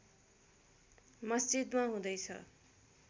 मस्जिदमा हुँदैछ